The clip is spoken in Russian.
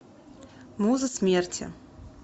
муза смерти